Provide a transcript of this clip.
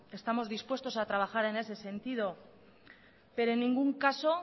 estamos dispuestos a trabajar en ese sentido pero en ningún caso